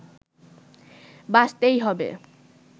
বাঁচতেই হবে